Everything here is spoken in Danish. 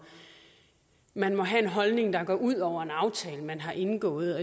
man må have en holdning der går ud over en aftale man har indgået